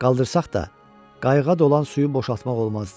Qaldırsaq da, qayığa dolan suyu boşaltmaq olmazdı.